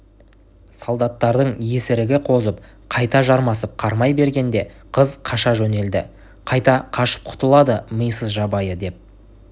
солдаттардың есірігі қозып қайта жармасып қармай бергенде қыз қаша жөнелді қайда қашып құтылады мисыз жабайы деп